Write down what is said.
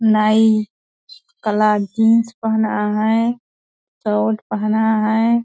नाई काला जीन्स पहना है शर्ट पहना है।